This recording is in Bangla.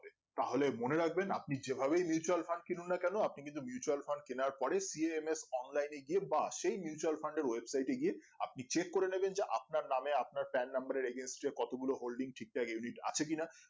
তাহলে মনে রাখবেন আপনি যেভাবেই mutual fund কিনুন না কেনো আপনি কিন্তু mutual fund কেনার পরে cms online এ গিয়ে বা সেই mutual fund এর website এ গিয়ে আপনি চেক করে নেবেন যে আপনার নাম আপনার pan number এর agency কতগুলো holding ঠিকঠাক unit আছে কিনা